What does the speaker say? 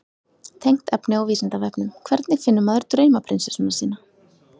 Tengt efni á Vísindavefnum: Hvernig finnur maður draumaprinsessuna sína?